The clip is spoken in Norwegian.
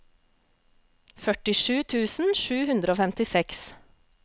førtisju tusen sju hundre og femtiseks